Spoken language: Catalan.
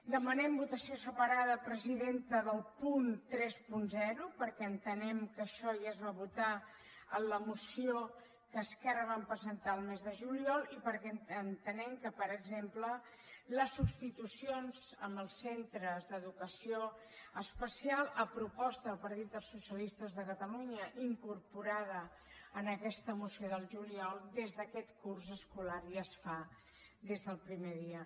demanem votació separada presidenta del punt trenta perquè entenem que això ja es va votar en la moció que esquerra vam presentar el mes de juliol i perquè entenem que per exemple les substitucions als centres d’educació especial a proposta del partit dels socialistes de catalunya incorporada en aquesta moció del juliol des d’aquest curs escolar ja es fan des del primer dia